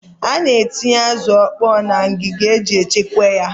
A na-etinye azụ ọkpọọ na ngịga iji chekwaa ya.